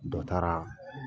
Dɔ taara